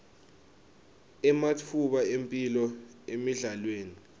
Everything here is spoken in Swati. ematfuba emphilo emidlalweni